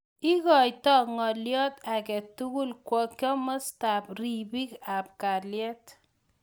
Ikoite ng'alyo age tugul kwo kimosta ab ribik ab kaliet.